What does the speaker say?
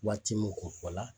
Waati min ko fɔla